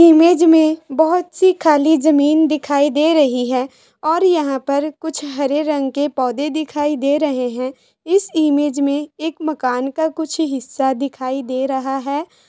Image में बहोत सी खाली जमीन दिखाई दे रही है और यहाँ पे कुछ हरे रंग के पौधे दिखाई दे रहे हैं इस इमेज में एक मकान का कुछ हिस्सा दिखाई दे रहा है।